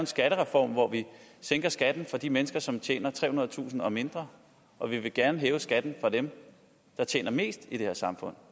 skattereform hvor vi sænker skatten for de mennesker som tjener trehundredetusind kroner eller mindre og vi vil gerne hæve skatten for dem der tjener mest i det her samfund